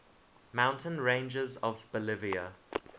mountain ranges of bolivia